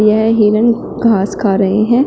यह हिरण घास खा रहे हैं।